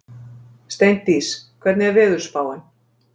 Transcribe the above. Steindís, hvernig er veðurspáin?